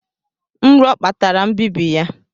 Nro kpatara mbibi ya